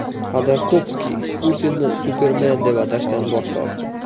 Xodorkovskiy Putinni supermen deb atashdan bosh tortdi.